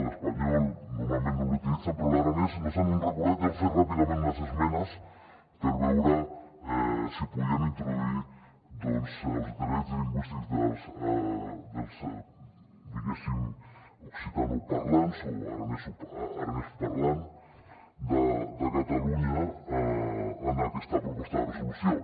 l’espanyol normalment no l’utilitzen però de l’aranès no se n’han recordat i han fet ràpidament unes esmenes per veure si podien introduir doncs els drets lingüístics dels diguéssim occitanoparlants o aranesoparlants de catalunya en aquesta proposta de resolució